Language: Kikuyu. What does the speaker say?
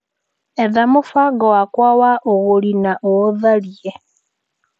Etha mũbango wakwa wa ũgũri na o-otharie.